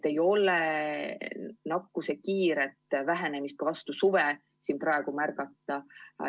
Ei ole nakkuse kiiret vähenemist ka vastu suve märgata.